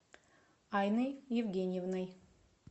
айной евгеньевной